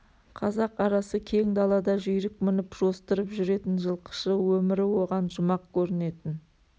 қазақ арасы кең далада жүйрік мініп жостырып жүретін жылқышы өмірі оған жұмақ көрінетін